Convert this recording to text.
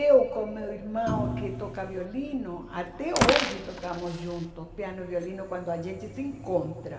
Eu com meu irmão que toca violino, até hoje tocamos juntos piano e violino quando a gente se encontra.